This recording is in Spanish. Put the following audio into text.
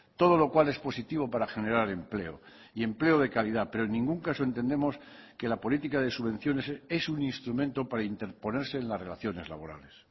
todo lo cual es positivo para generar empleo y empleo de calidad pero en ningún caso entendemos que la política de subvenciones es un instrumento para interponerse en las relaciones laborales